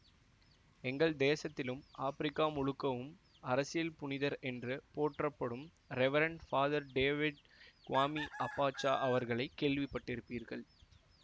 எங்கள் தேசத்திலும் ஆப்ரிக்கா முழுக்கவும் அரசியல்ப்புனிதர் என்று போற்றப்படும் reverend father David Kwame Abacha அவர்களை கேள்விப்பட்டிருப்பீர்கள்